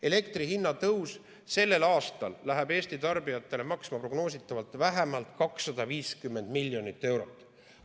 Elektri hinna tõus sellel aastal läheb Eesti tarbijatele maksma prognoositavalt vähemalt 250 miljonit eurot.